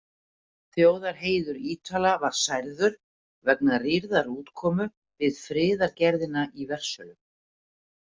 Þjóðarheiður Ítala var særður vegna rýrðar útkomu við friðargerðina í Versölum.